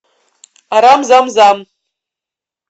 арам зам зам